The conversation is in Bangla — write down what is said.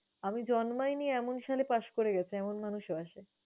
আমি জন্মায় নি এমন সালে পাশ করে গেছে এমন মানুষও আসে।